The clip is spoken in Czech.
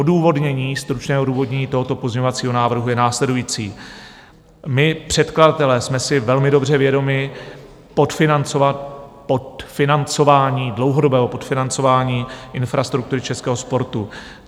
Odůvodnění, stručné odůvodnění tohoto pozměňovacího návrhu je následující: my předkladatelé jsme si velmi dobře vědomi podfinancování, dlouhodobého podfinancování infrastruktury českého sportu.